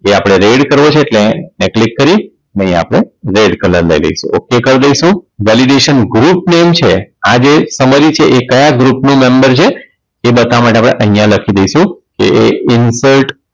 તે આપણે red કરવો છે એટલે ન્યાં Click કરી ને અહીંયા આપણે red કલર લઇ લેશું ok કરી દઈશું Validation group લેવું છે આ જે Summary છે એ કાયા ગ્રુપ ની Member છે તે બતાવવા માટે આપણે અહીંયા લખી દઈશું કે Insert